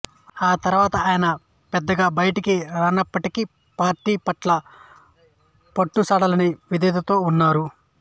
ఆ తర్వాత ఆయన పెద్దగా బయటికి రానప్పటికీ పార్టీ పట్ల పట్టుసడలని విధేయతతో ఉంటున్నారు